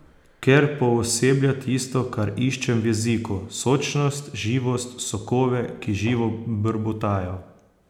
Ker pooseblja tisto, kar iščem v jeziku, sočnost, živost, sokove, ki živo brbotajo.